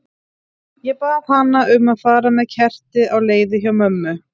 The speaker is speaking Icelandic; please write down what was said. Ég bað hana um að fara með kerti á leiðið hjá mömmu.